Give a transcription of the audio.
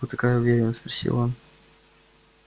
откуда такая уверенность спросил он